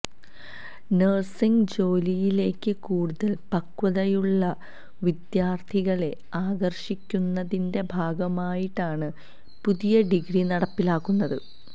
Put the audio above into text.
nursing ജോലിയിലേക്ക് കൂടുതല് പക്വതയുള്ള വിദ്യാര്ത്ഥികളെ ആകര്ഷിക്കുന്നതിന്റെ ഭാഗമായിട്ടാണ് പുതിയ ഡിഗ്രി നടപ്പിലാക്കുന്നത്